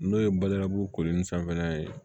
N'o ye badabugu koli ni sanfɛla ye